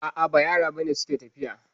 A'a ba yara ba ne suke tafiya